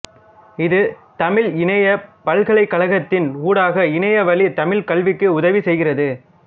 இது தமிழ் இணையப் பல்கலைக்கழகத்தின் ஊடாக இணைய வழி தமிழ்க் கல்விக்கு உதவி செய்கிறது